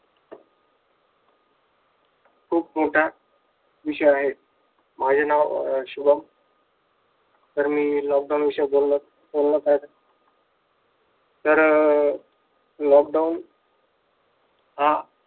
खूप मोठा विषय आहे. माझे नाव अं शुभम तर मी lockdown विषयी बोलणार बोलणार आहे. तर lockdown हा